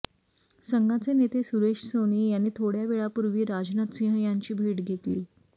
संघाचे नेते सुरेश सोनी यांनी थोड्या वेळापूर्वी राजनाथ सिंह यांची भेट घेतली